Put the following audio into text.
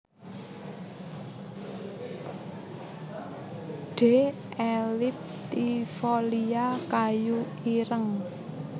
D elliptifolia kayu ireng